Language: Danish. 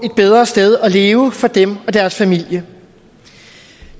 leve for dem og deres familie